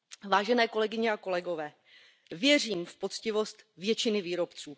Vážené kolegyně a kolegové, věřím v poctivost většiny výrobců.